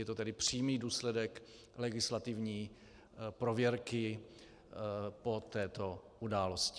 Je to tedy přímý důsledek legislativní prověrky po této události.